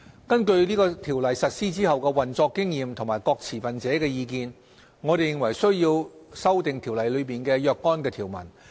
根據《條例》實施後的運作經驗和各持份者的意見，我們認為須要修訂《條例》中的若干條文。